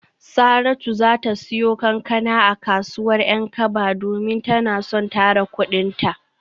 Saratu za ta siyo kankana a kasuwar Yankaba domin tana son tara kudinta.